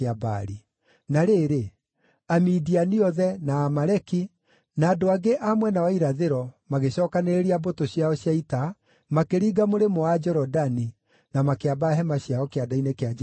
Na rĩrĩ, Amidiani othe, na Amaleki, na andũ angĩ a mwena wa irathĩro magĩcookanĩrĩria mbũtũ ciao cia ita, makĩringa mũrĩmo wa Jorodani, na makĩamba hema ciao Kĩanda-inĩ kĩa Jezireeli.